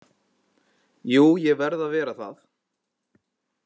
Jú ég verð að vera það